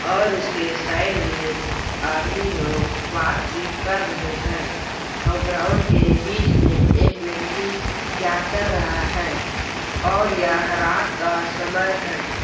और इसके साइड में आदमी लोग बात-चीत कर रहे है और ग्राउंड के बीच में एक व्यक्ति क्या कर रहा है और यह रात का समय है।